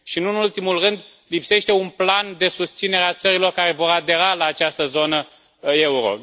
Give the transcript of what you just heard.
Nu în ultimul rând, lipsește un plan de susținere a țărilor care vor adera la această zonă euro.